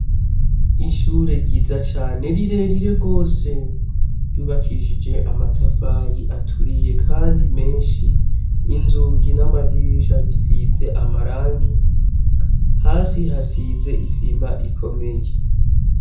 Ishure ryiza cane rirerire gose ryubakishije amatafari aturiye kandi menshi, inzugi n'amadirisha bisize amarangi, hasi hasize isima ikomeye.